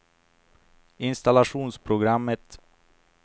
installationsprogrammet